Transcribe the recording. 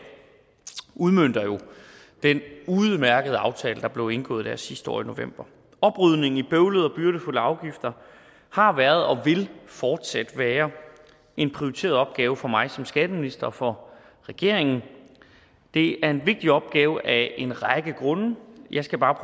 udmønter jo den udmærkede aftale der blev indgået der sidste år i november oprydningen i bøvlede og byrdefulde afgifter har været og vil fortsat være en prioriteret opgave for mig som skatteminister og for regeringen det er en vigtig opgave af en række grunde jeg skal bare